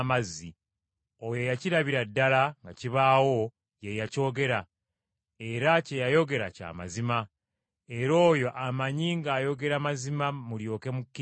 Oyo eyakirabira ddala nga kibaawo ye yakyogera, era kye yayogera kya mazima, era oyo amanyi ng’ayogera mazima mulyoke mukkirize.